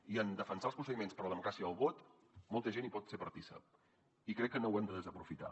i en defensar els procediments per a la democràcia i el vot molta gent hi pot ser partícip i crec que no ho hem de desaprofitar